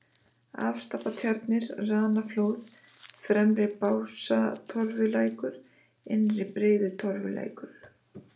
Afstapatjarnir, Ranaflóð, Fremri-Básatorfulækur, Innri-Breiðutorfulækur